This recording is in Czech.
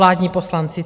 Vládní poslanci!